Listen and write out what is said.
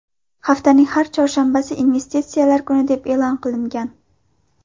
Haftaning har chorshanbasi investitsiyalar kuni deb e’lon qilingan.